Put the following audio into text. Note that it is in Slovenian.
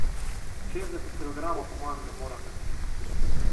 Šestdeset kilogramov po mojem ne morem nositi.